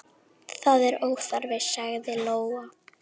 Það er óþarfi, sagði Lóa.